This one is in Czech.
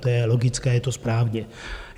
To je logické, je to správně.